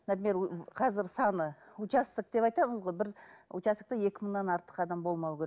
например ііі қазір саны участок деп айтамыз ғой бір участокте екі мыңнан артық адам болмауы керек